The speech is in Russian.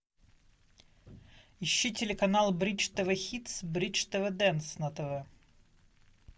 ищи телеканал бридж тв хитс бридж тв дэнс на тв